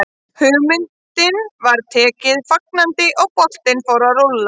Hugmyndinni var tekið fagnandi og boltinn fór að rúlla.